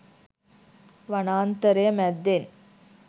වනාන්තරය මැද්දෙන්